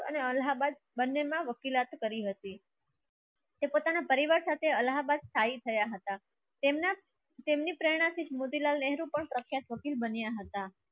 અલ્હાબાદ બંનેમાં વકીલાત કરી હતી. તે પોતાના પરિવાર સાથે અલાહાબાદ સ્થાયી થયા હતા. તેમના તેમની પ્રેરણાથી મોતીલાલ નહેરુ પણ પ્રખ્યાત વકીલ બન્યા હતા.